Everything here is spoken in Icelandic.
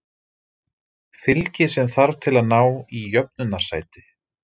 Fylgi sem þarf til að ná í jöfnunarsæti